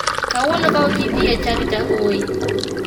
Kawuono ka ok idhi e chadi to agoyi.